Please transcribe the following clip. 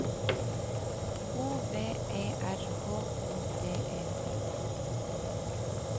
O V E R H O D E T